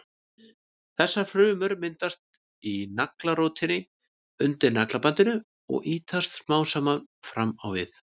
Þessar frumur myndast í naglrótinni undir naglabandinu og ýtast smám saman fram á við.